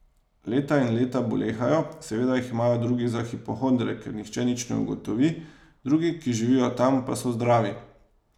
Leta in leta bolehajo, seveda jih imajo drugi za hipohondre, ker nihče nič ne ugotovi, drugi, ki živijo tam, so pa zdravi.